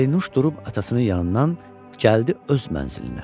Pərinüş durub atasının yanından gəldi öz mənzilinə.